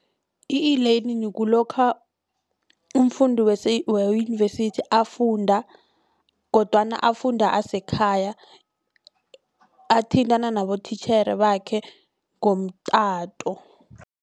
I-elearning kulokha umfundi weyunivesithi afunda kodwana afunda asekhaya athintana nabotitjhere bakhe ngomtato.